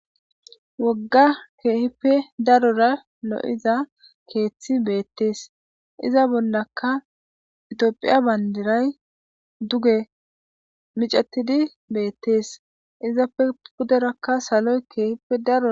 Wogga keehippe darora lo7iza keeththi beetees. Iza bollakka etiophiya bandiray duge miccetidi beetees. Ezappe puderaka saloy keehippe daro .